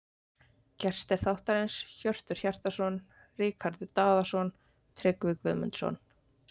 Gestir þáttarins: Hjörtur Hjartarson Ríkharður Daðason Tryggvi Guðmundsson